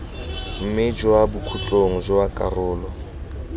mme kwa bokhutlong jwa karolo